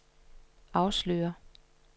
afslører